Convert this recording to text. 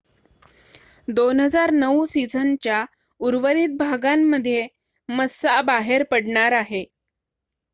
2009 सिझनच्या उर्वरित भागांमध्ये मस्सा बाहेर पडणार आहे